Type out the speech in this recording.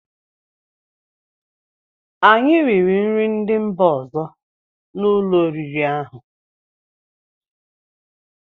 Anyị riri nri ndị mba ọzọ n'ụlọ oriri ahụ.